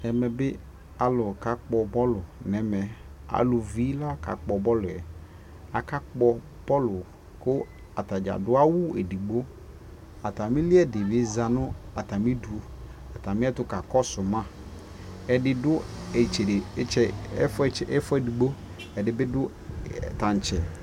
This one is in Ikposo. ɛmɛ bi alʋ ka kpɔ ballʋ nʋ ɛmɛ, alʋvi la ka kpɔ ballʋɛ, aka kpɔ ballʋ kʋ atagya adʋ awʋ ɛdigbɔ, atami li ɛdi bi zanʋ atami idʋ atami ɛtʋ ka kɔsʋ ma, ɛdi dʋ ɛƒʋɛ ɛdigbɔ ɛdibi dʋ tankyɛ